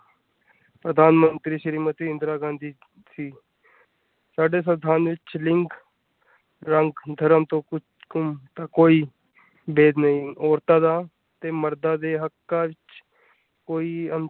ਪ੍ਰਧਾਨਮੰਤਰੀ ਸ਼੍ਰੀਮਤੀ ਇੰਦਰਾ ਗਾਂਧੀ ਥੀ ਸਾਡੇ ਸਵਿੰਧਾਨ ਵਿਚ ਲਿੰਗ, ਰੰਗ, ਧਰਮ ਕੁ ਕੋਈ ਭੇਦ ਨਹੀਂ ਔਰਤਾਂ ਦਾ ਤੇ ਮਰਦਾਂ ਦੇ ਹੱਕਾ ਚ ਕੋਈ ਅੰਤਰ।